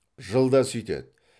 жылда сүйтеді